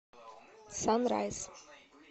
санрайс